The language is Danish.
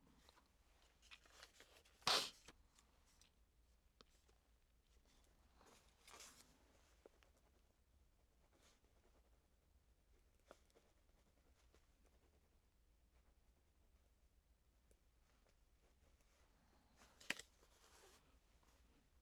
Tirsdag d. 7. marts 2017